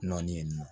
Nɔɔni